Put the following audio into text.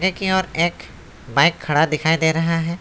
की ओर एक बाइक खड़ा दिखाई दे रहा है।